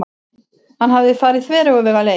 Hann hafði farið þveröfuga leið.